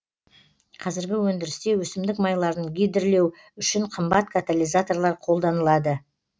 қазіргі өндірісте өсімдік майларын гидрлеу үшін қымбат катализаторлар қолданылады